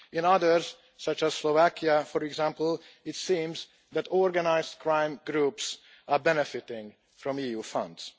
In others, such as Slovakia, for example, it seems that organised crime groups are benefiting from EU funds.